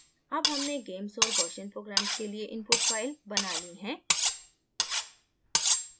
अब हमने gamess और gaussian programmes के लिए input files now ली हैं